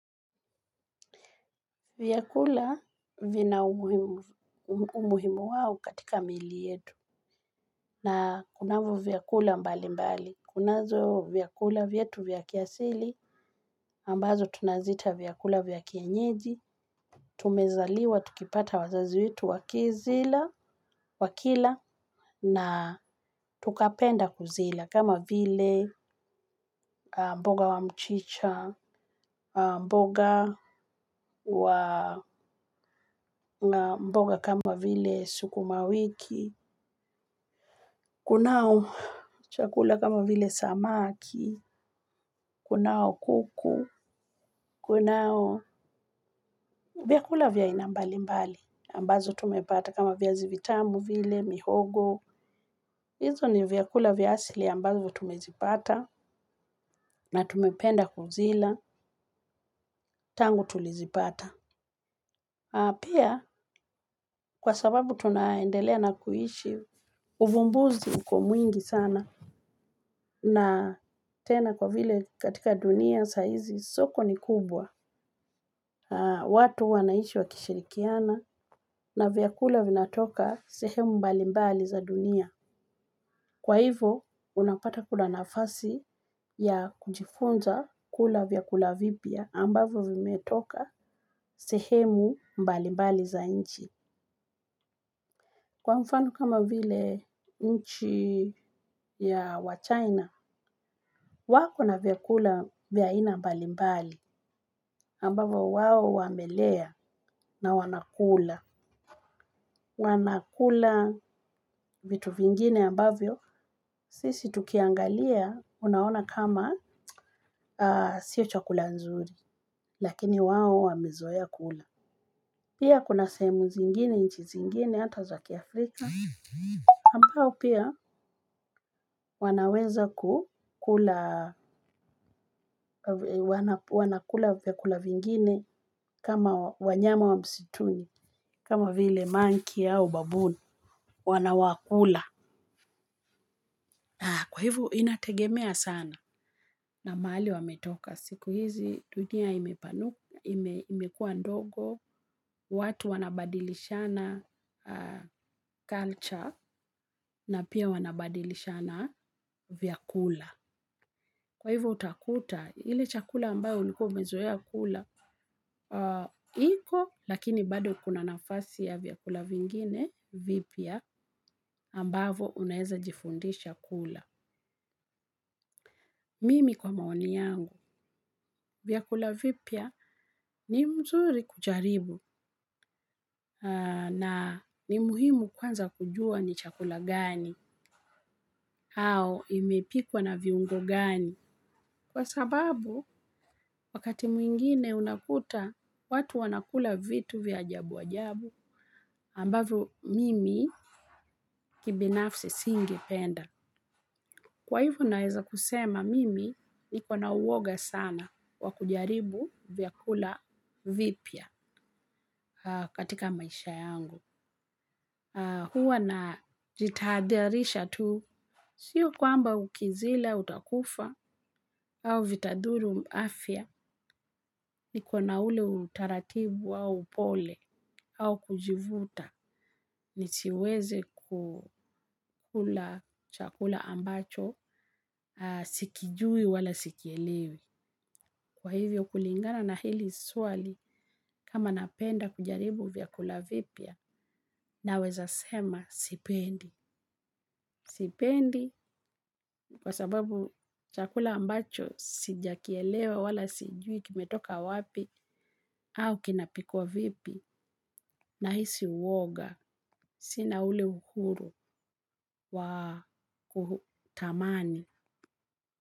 Vyakula vina umuhimu wao katika mili yetu na kunavyo vyakula mbali mbali. Kunazo vyakula vyetu vya kiasili ambazo tunaziita vyakula vya kienyeji. Tumezaliwa, tukipata wazazi wetu wakila na tukapenda kuzila. Kama vile mboga wa mchicha, mboga kama vile sukumawiki, kunao chakula kama vile samaki, kunao kuku, kunao vyakula vya aina mbali mbali ambazo tumepata. Kama viazi vitamu vile, mihogo, hizo ni vyakula vya asili ambazo tumezipata na tumependa kuzila tangu tulizipata. Pia kwa sababu tunaendelea na kuishi, uvumbuzi uko mwingi sana na tena kwa vile katika dunia saizi soko ni kubwa. Watu wanaishi wakishirikiana na vyakula vinatoka sehemu mbali mbali za dunia. Kwa hivo unapata kuna nafasi ya kujifunza kula vyakula vipya ambavyo vimetoka sehemu mbali mbali za nchi. Kwa mfano kama vile nchi ya wachina wako na vyakula mbali mbali, ambavyo wamelea na wanakula. Wanakula vitu vingine ambavyo sisi tukiangalia unaona kama sio chakula nzuri, lakini wao wamezoea kula. Pia kuna sehemu zingine, nchi zingine, hata za kiafrika. Ambao pia wanaweza kukula kula vyakula vingine kama wanyama wa msituni, kama vile monkey au baboon, wanawakula. Kwa hivob inategemea sana na mahali wametoka. Siku hizi dunia imekua ndogo, watu wanabadilishana culture na pia wanabadilishana vyakula. Kwa hivo utakuta ile chakula ambayo ulikuwa umezoea kula iko, lakini kuna nafasi ya vyakula vingine vipya ambavyo unaweza jifundisha kula. Mimi kwa maoni yangu, vyakula vipya ni mzuri kujaribu na ni muhimu kwanza kujua ni chakula gani, au imepikwa na viungo gani. Kwa sababu, wakati mwingine unakuta, watu wanakula vitu vya ajabu ajabu ambavyo mimi kibinafsi singependa. Kwa hivo, naweza kusema mimi niko na uoga wa kujaribu vyakula vipya. Katika maisha yangu. Huwa na jitahadharisha tu. Sio kwamba ukizila utakufa, au vitadhuru afya, nikona na ule utaratibu au upole, au kujivuta, nisiweze kukula chakula ambacho, sikijui wala sikielewi. Kwa hivyo kulingana na hili swali, kama napenda kujaribu vyakula vipya, naweza sema sipendi. Sipendi kwa sababu chakula ambacho sijakielewa wala sijui kimetoka wapi au kinapikwa vipi nahisi uoga, sina ule uhuru wa kutamani.